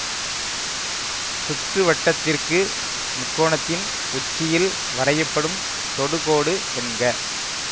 சுற்றுவட்டத்திற்கு முக்கோணத்தின் உச்சியில் வரையப்படும் தொடுகோடு என்க